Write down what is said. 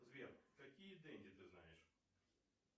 сбер какие денди ты знаешь